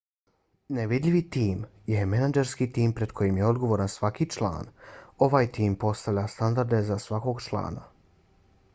nevidljivi tim je menadžerski tim pred kojim je odgovoran svaki član. ovaj tim postavlja standarde za svakog člana